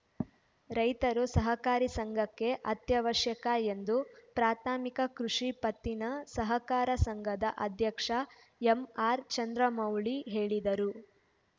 ರೈತರು ಸಹಕಾರಿ ಸಂಘಕ್ಕೆ ಅತ್ಯವಶ್ಯಕ ಎಂದು ಪ್ರಾಥಮಿಕ ಕೃಷಿ ಪತ್ತಿನ ಸಹಕಾರ ಸಂಘದ ಅಧ್ಯಕ್ಷ ಎಂಆರ್‌ಚಂದ್ರಮೌಳಿ ಹೇಳಿದರು